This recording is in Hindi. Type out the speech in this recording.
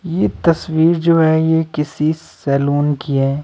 ये तस्वीर जो है ये किसी सैलून की है।